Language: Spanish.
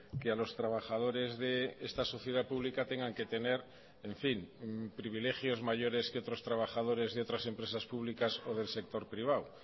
que a los trabajadores de esta sociedad pública tengan que tener en fin privilegios mayores que otros trabajadores de otras empresas públicas o del sector privado